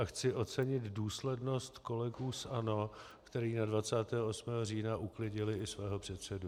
A chci ocenit důslednost kolegů z ANO, kteří na 28. října uklidili i svého předsedu.